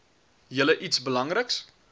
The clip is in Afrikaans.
julle iets belangriks